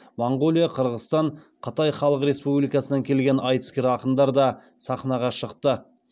моңғолия қырғызстан қытай халық республикасынан келген айтыскер ақындар да сахнаға шықты